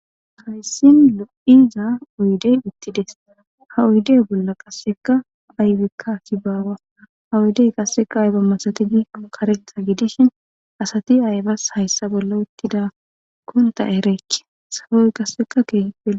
hayssin lo'iza oyidey uttidees ha oydey bolla qasseka aybikka assi bawa ha oyudey qasseka ayba massatti gikko kareththa gidishin assatti aybas hayssa bolla uttidakon ta erike soohoy qasseka ke'iooe lo'ees